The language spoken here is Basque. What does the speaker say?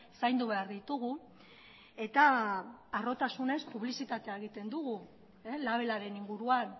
zaindu behar ditugu eta harrotasunez publizitatea egiten dugu labelaren inguruan